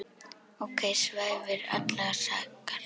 ok svæfir allar sakir.